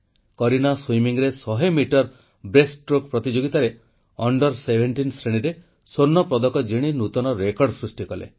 କରୀନା ସୁଇମିଂରେ 100 metre breaststroke ପ୍ରତିଯୋଗିତାର 17 ବର୍ଷରୁ କମ ବର୍ଗରେ ସ୍ୱର୍ଣ୍ଣପଦକ ଜିଣି ନୂତନ ରେକର୍ଡ଼ ସୃଷ୍ଟି କଲେ